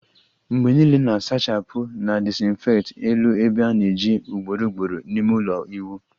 Mgbe niile na-asachapu na disinfect elu ebe a ana-eji ugboro ugboro n'ime ulo iwu